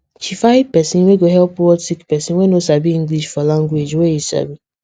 she find person wey go help word sick person wey no sabi english for language wey e sabi